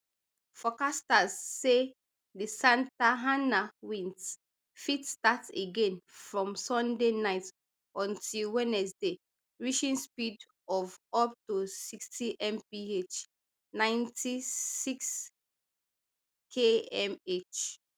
forecasters say di santa ana winds fit start again from sunday night until wednesday reaching speed of up to sixtymph ninety-sixkmh